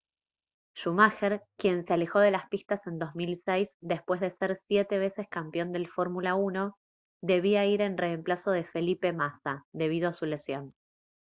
schumacher quien se alejó de las pistas en 2006 después de ser siete veces campeón del fórmula 1 debía ir en reemplazo de felipe massa debido a su lesión